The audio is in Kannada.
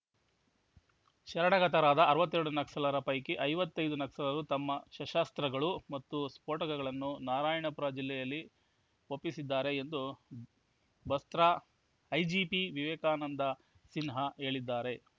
ಶರಣಾಗತರಾದ ಅರವತ್ತೆರಡು ನಕ್ಸಲರ ಪೈಕಿ ಐವತ್ತೈದು ನಕ್ಸಲರು ತಮ್ಮ ಶಸ್ತ್ರಾಸ್ತ್ರಗಳು ಮತ್ತು ಸ್ಫೋಟಕಗಳನ್ನು ನಾರಾಯಣಪುರ ಜಿಲ್ಲೆಯಲ್ಲಿ ಒಪ್ಪಿಸಿದ್ದಾರೆ ಎಂದು ಬಸ್ತ್ರ ಐಜಿಪಿ ವಿವೇಕಾನಂದ ಸಿನ್ಹಾ ಹೇಳಿದ್ದಾರೆ